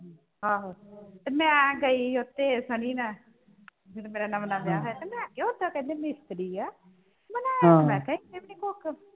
ਆਹੋ ਮੈਂ ਗਈ ਉਥੇ ਸਨੀ ਨਾਲ ਜਦੋਂ ਮੇਰਾ ਨਵਾਂ ਨਵਾਂ ਵਿਆਹ ਹੋਇਆ ਤੇ ਮੈਂ ਕਿਹਾ ਉੱਦਾਂ ਕਹਿੰਦੇ ਮਿਸਤਰੀ ਆ ਬਣਾਇਆ ਤਾਂ ਮੈਂ ਕਿਹਾ ਇਹਨੇ ਵੀ ਨਹੀਂ ਕੁੱਖ